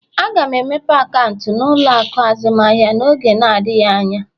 Aga m emepe akaụntụ na ụlọ akụ azụmaahịa n'oge adịghị anya